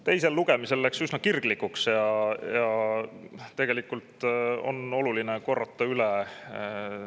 Teisel lugemisel läks üsna kirglikuks.